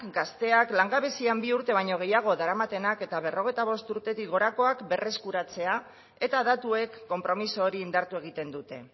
gazteak langabezian bi urte baino gehiago daramatenak eta berrogeita bost urtetik gorakoak berreskuratzea eta datuek konpromiso hori indartu egiten dute